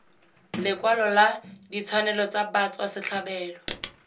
lekwalong la ditshwanelo tsa batswasetlhabelo